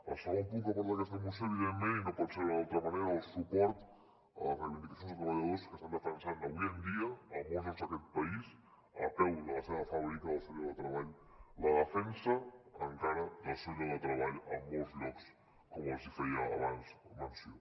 el segon punt que aporta aquesta moció evidentment i no pot ser d’una altra manera és el suport a les reivindicacions de treballadors que estan defensat avui en dia a molts llocs d’aquest país a peu de la seva fàbrica el seu lloc de treball la defensa encara del seu lloc de treball en molts llocs com els feia abans menció